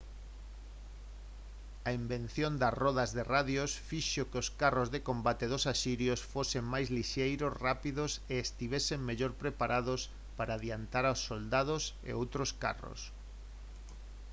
a invención das rodas de radios fixo que os carros de combate dos asirios fosen máis lixeiros rápidos e estivesen mellor preparados para adiantar aos soldados e outros carros